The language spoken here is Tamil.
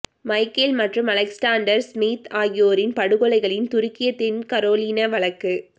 மைக்கேல் மற்றும் அலெக்ஸாண்டர் ஸ்மித் ஆகியோரின் படுகொலைகளின் துருக்கிய தென் கரோலினா வழக்கு